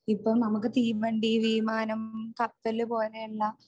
ഇപ്പൊ നമുക്ക് തീവണ്ടി വിമാനം കപ്പൽ പോലെയുള്ള